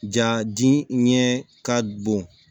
Ja diɲɛ ɲɛ ka bon